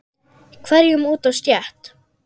hverjum út á stétt.